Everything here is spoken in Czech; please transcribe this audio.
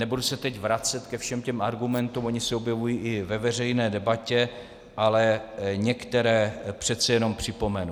Nebudu se teď vracet ke všem těm argumentům, ony se objevují i ve veřejné debatě, ale některé přece jenom připomenu.